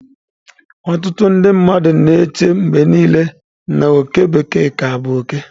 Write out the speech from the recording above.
Ọtụtụ ndị mmadụ na-eche mgbe niile na oke bekee ka bụ oke.